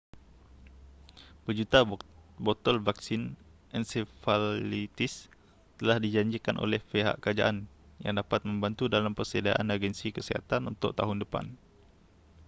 berjuta botol vaksin ensefalitis telah dijanjikan oleh pihak kerajaan yang dapat membantu dalam persediaan agensi kesihatan untuk tahun depan